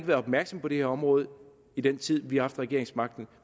været opmærksom på det her område i den tid vi har haft regeringsmagten